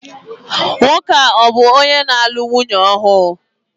Nwoke a bu onye nālu nwunye ọhu?